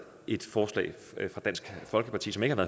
et forslag fra dansk folkeparti som ikke har